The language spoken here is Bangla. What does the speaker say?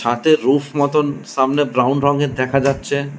রূফ মতন সামনে ব্রাউন রঙের দেখা যাচ্ছে।